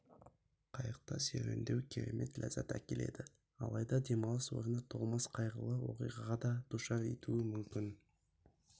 қайықта серуендеу керемет ләззат әкеледі алайда демалыс орны толмас қайғылы оқиғаға да душар етуі мүмкін